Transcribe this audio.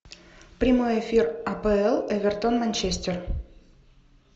прямой эфир апл эвертон манчестер